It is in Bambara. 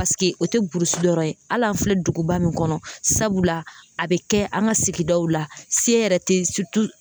o tɛ burusi yɔrɔ ye hali an filɛ duguba min kɔnɔ sabula a bɛ kɛ an ka sigidaw la se yɛrɛ tɛ